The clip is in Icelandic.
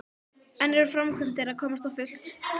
En eru framkvæmdir að komast á fullt?